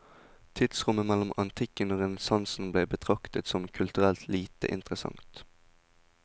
Tidsrommet mellom antikken og renessansen, ble betraktet som kulturelt lite interessant.